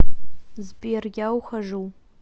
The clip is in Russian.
сбер я ухожу